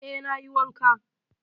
Eh, na yi wanka.